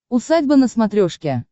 усадьба на смотрешке